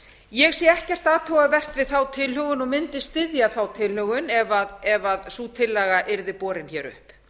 ég sé ekkert athugavert við þá tilhögun og mundi styðja þá tilhögun ef sú tillaga yrði borin hér upp